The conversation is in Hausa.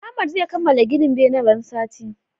Ahmad zai kamala gina benen ran sati